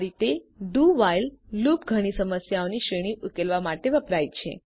આ રીતે do while loop ઘણી સમસ્યાઓની શ્રેણી ઉકેલવા માટે વપરાય છે